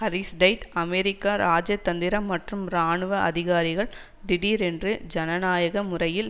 Aristide அமெரிக்க இராஜதந்திர மற்றும் இராணுவ அதிகாரிகள் திடீரென்று ஜனநாயக முறையில்